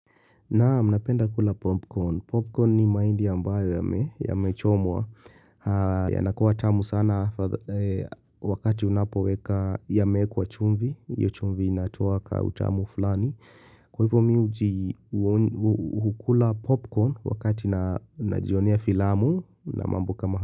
Naam, napenda kula popcorn. Popcorn ni maindi ambayo yamechomwa. Yanakuwa tamu sana wakati unapoweka yameekwa chumvi. Hiyo chumvi inatoa ka utamu fulani. Kwa hivyo miu ukula popcorn wakati najionea filamu na mambo kama hapa.